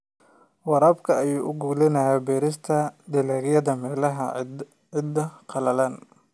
Waraabka ayaa u oggolaanaya beerista dalagyada meelaha ciidda qallalan.